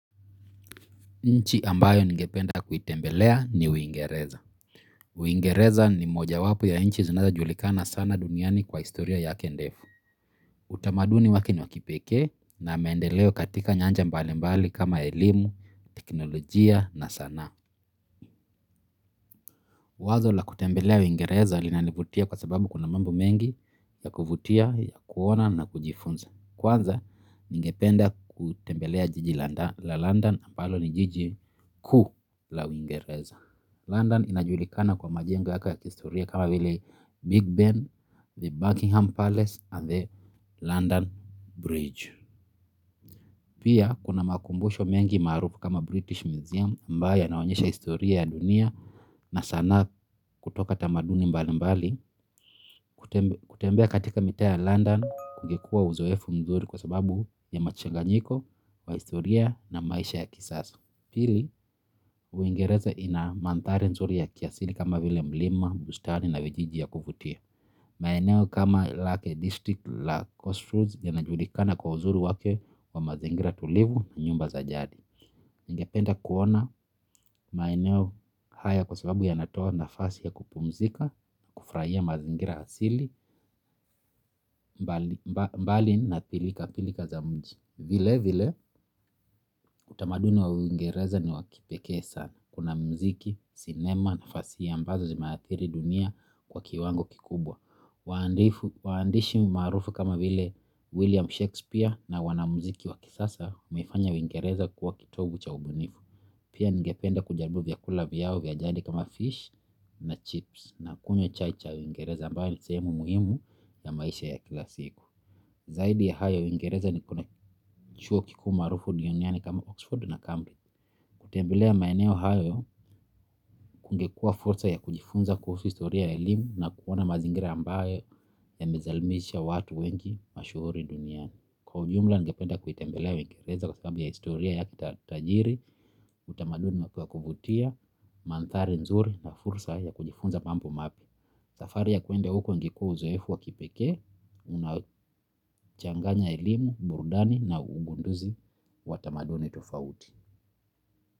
Nchi ambayo ningependa kuitembelea ni Uingereza. Uingereza ni mojawapo ya nchi zinazojulikana sana duniani kwa historia yake ndefu. Utamaduni wake ni wa kipekee na maendeleo katika nyanja mbalimbali kama elimu, teknolojia na sanaa. Wazo la kutembelea Uingereza linanivutia kwa sababu kuna mambo mengi ya kuvutia, ya kuona na kujifunza. Kwanza ningependa kutembelea jiji la London, ambalo ni jiji kuu la Uingereza. London inajulikana kwa majengo yake ya kihistoria kama vile Big Ben, the Buckingham Palace, and the London Bridge. Pia kuna makumbusho mengi maarufu kama British Museum, ambayo yanaonyesha historia ya dunia na sanaa kutoka tamaduni mbalimbali. Kutembea katika mitaa ya London kungekuwa uzoefu mzuri kwa sababu ya mchanganyiko wa historia na maisha ya kisasa. Pili, Uingereza ina mandhari nzuri ya kiasili kama vile milima, bustani na vijiji ya kuvutia. Maeneo kama Lake District na Cotswolds yanajulikana kwa uzuri wake wa mazingira tulivu na nyumba za jadi. Ningependa kuona maeneo haya kwa sababu yanatoa nafasi ya kupumzika, kufurahia mazingira asilia. Mbali na pilikapilika za mji. Vilevile, utamaduni wa waingereza ni wa kipekee sana. Kuna muziki, sinema na fasihi ambazo zimeathiri dunia kwa kiwango kikubwa. Waandishi maarufu kama vile William Shakespeare na wanamuziki wa kisasa wamefanya Uingereza kuwa kitovu cha ubunifu. Pia ningependa kujaribu vyakula vyao vya jadi kama fish na chips na kunywa chai ya Uingereza, ambayo ni sehemu muhimu ya maisha ya kila siku. Zaidi ya hayo, Uingereza kuna vyuo vikuu maarufu duniani kama Oxford na Cambridge. Kutembelea maeneo hayo kungekuwa fursa ya kujifunza kuhusu historia ya elimu na kuona mazingira ambayo yamezalisha watu wengi mashuhuri duniani. Kwa ujumla, ningependa kuitembelea Uingereza kwa sababu ya historia ya kitajiri, utamaduni wake wa kuvutia, mandhari nzuri na fursa ya kujifunza mambo mapya. Safari ya kwenda huko ingekuwa uzoefu wa kipekee. Unaochanganya elimu, burudani na ugunduzi wa tamaduni tofauti.